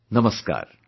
Namaskaar